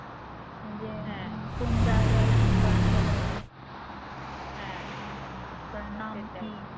যে কোন জায়গায় কোন বাসটা যাবে তার নাম কি